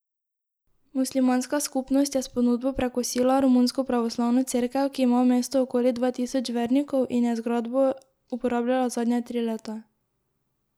Muslimanska skupnost je s ponudbo prekosila romunsko pravoslavno cerkev, ki ima v mestu okoli dva tisoč vernikov in je zgradbo uporabljala zadnja tri leta.